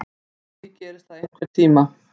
Kannski gerist það einhvern tíma.